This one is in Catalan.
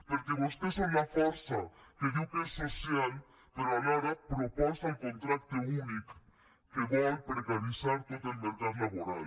perquè vostès són la força que diu que és social però alhora proposa el contracte únic que vol precaritzar tot el mercat laboral